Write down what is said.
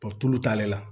tulu t'ale la